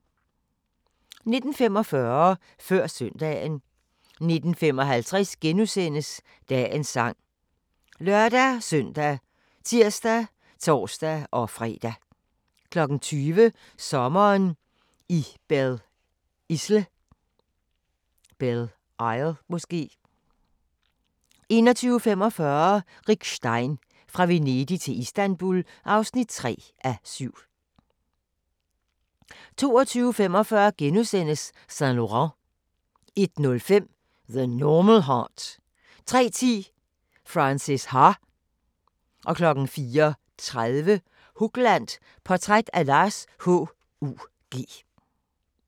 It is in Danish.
19:45: Før Søndagen 19:55: Dagens sang *( lør-søn, tir, tor-fre) 20:00: Sommeren i Belle Isle 21:45: Rick Stein: Fra Venedig til Istanbul (3:7) 22:45: Saint Laurent * 01:05: The Normal Heart 03:10: Frances Ha 04:30: Hugland – Portræt af Lars H.U.G.